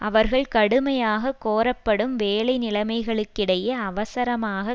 அவர்கள் கடுமையாக கோரப்படும் வேலை நிலைமைகளுக்கிடையே அவசரமாக